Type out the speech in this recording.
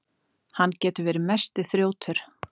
Hann getur verið mesti þrjótur.